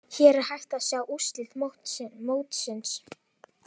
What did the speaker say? Hér er hægt að sjá úrslit mótsins.